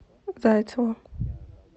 зайцеву